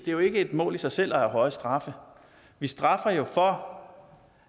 jo ikke et mål i sig selv at have høje straffe vi straffer jo for